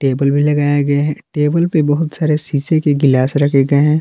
Table भी लगाया गया टेबल पे बहुत सारे शीशे के गिलास रखे गए हैं।